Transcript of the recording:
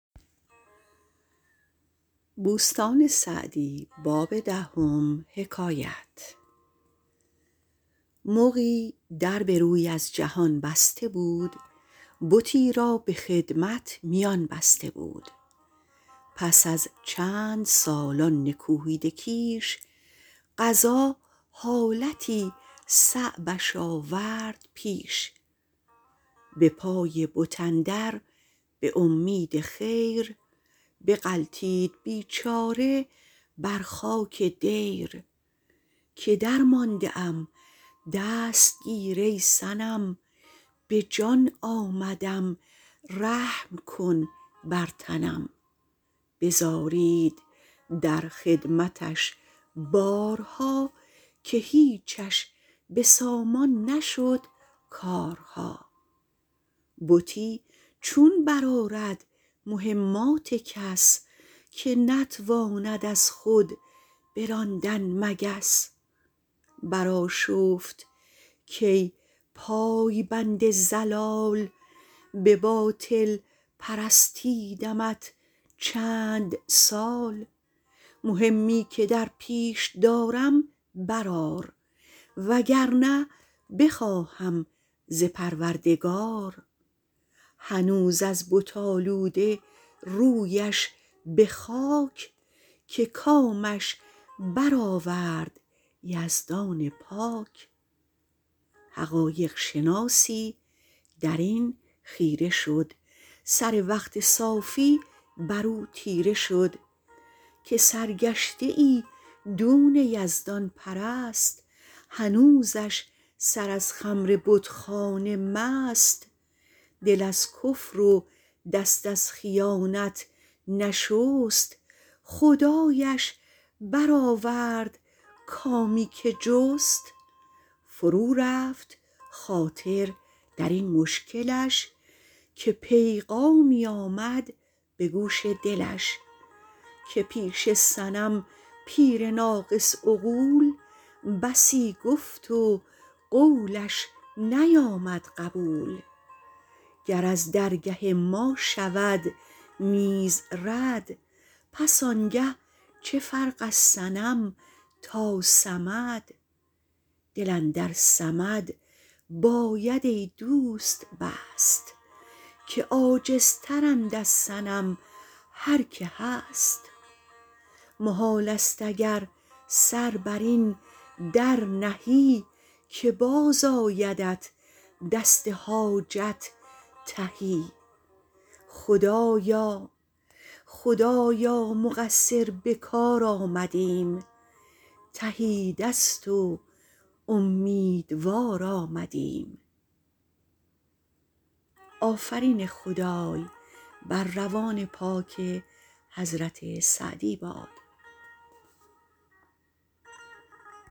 مغی در به روی از جهان بسته بود بتی را به خدمت میان بسته بود پس از چندسال آن نکوهیده کیش قضا حالتی صعبش آورد پیش به پای بت اندر به امید خیر بغلتید بیچاره بر خاک دیر که درمانده ام دست گیر ای صنم به جان آمدم رحم کن بر تنم بزارید در خدمتش بارها که هیچش به سامان نشد کارها بتی چون برآرد مهمات کس که نتواند از خود براندن مگس برآشفت کای پای بند ضلال به باطل پرستیدمت چندسال مهمی که درپیش دارم برآر و گر نه بخواهم ز پروردگار هنوز از بت آلوده رویش به خاک که کامش برآورد یزدان پاک حقایق شناسی در این خیره شد سر وقت صافی بر او تیره شد که سرگشته ای دون یزدان پرست هنوزش سر از خمر بتخانه مست دل از کفر و دست از خیانت نشست خدایش برآورد کامی که جست فرو رفت خاطر در این مشکلش که پیغامی آمد به گوش دلش که پیش صنم پیر ناقص عقول بسی گفت و قولش نیامد قبول گر از درگه ما شود نیز رد پس آنگه چه فرق از صنم تا صمد دل اندر صمد باید ای دوست بست که عاجزتر اند از صنم هر که هست محال است اگر سر بر این در نهی که باز آیدت دست حاجت تهی خدایا مقصر به کار آمدیم تهی دست و امیدوار آمدیم